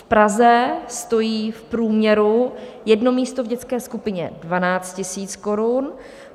V Praze stojí v průměru jedno místo v dětské skupině 12 000 korun.